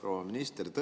Proua minister!